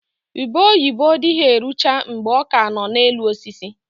Ube oyibo dịghị erucha mgbe ọ ka nọ na elu osisi